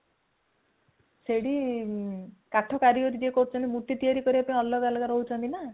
ସେଠି କାଠ କାରିଗରୀ ଯିଏ କରୁଛନ୍ତି ମୂର୍ତି ତିଆରି କରିବା ପାଇଁ ଅଲଗା ଅଲଗା ରହୁଛନ୍ତି ନା